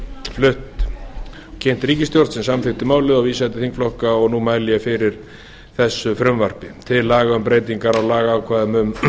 og kynnt í ríkisstjórn sem samþykkti málið og vísaði til þingflokka og nú mæli ég fyrir þessu frumvarpi til laga um breytingar á lagaákvæðum um